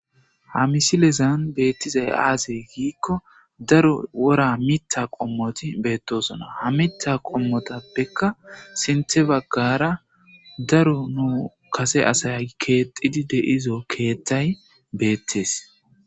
ha misilezan beettizay aasey giikko daru wora mitta qommoti beettosona ha mitta qommotappekka sinte baggara daru nu kase asay keexidi deizo keetthay beettes